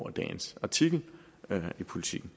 dagens artikel i politiken